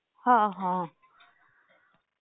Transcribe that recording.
हां, हां.